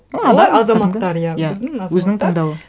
ол адам азаматтар иә біздің азаматтар өзінің таңдауы